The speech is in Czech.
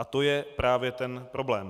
A to je právě ten problém.